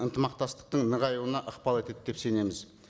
ынтымақтастықтың нығаюына ықпал етеді деп сенеміз